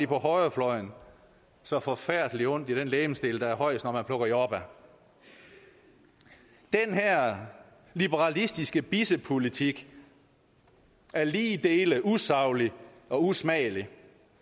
på højrefløjen så forfærdelig ondt i den legemsdel der er højest når man plukker jordbær den her liberalistiske bissepolitik er lige dele usaglig og usmagelig